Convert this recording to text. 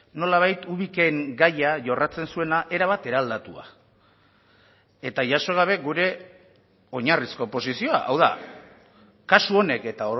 nolabait ubiken gaia jorratzen zuena erabat eraldatua eta jaso gabe gure oinarrizko posizioa hau da kasu honek eta